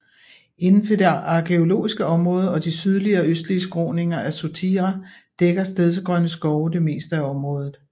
Inden for det arkæologiske område og de sydlige og østlige skråninger af Sotira dækker stedsegrønne skove det meste af området